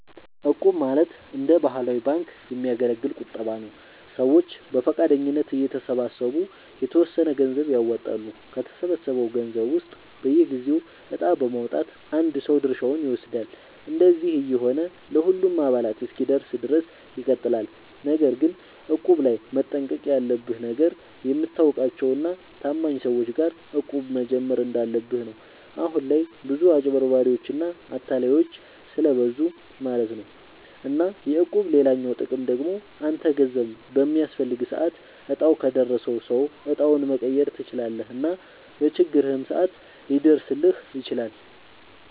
እቁብ ማለት እንደ ባህላዊ ባንክ የሚያገለግል ቁጠባ ነዉ። ሰዎች በፈቃደኝነት እየተሰባሰቡ የተወሰነ ገንዘብ ያዋጣሉ፣ ከተሰበሰበው ገንዘብ ውስጥ በየጊዜው እጣ በማዉጣት አንድ ሰው ድርሻውን ይወስዳል። እንደዚህ እየሆነ ለሁሉም አባላት እስኪደርስ ድረስ ይቀጥላል። ነገር ግን እቁብ ላይ መጠንቀቅ ያለብህ ነገር፣ የምታውቃቸው እና ታማኝ ሰዎች ጋር እቁብ መጀመር እንዳለብህ ነው። አሁን ላይ ብዙ አጭበርባሪዎች እና አታላዮች ስለብዙ ማለት ነው። እና የእቁብ ሌላኛው ጥቅም ደግሞ አንተ ገንዘብ በሚያስፈልግህ ሰዓት እጣው ከደረሰው ሰው እጣውን መቀየር ትችላለህ እና በችግርህም ሰዓት ሊደርስልህ ይችላል።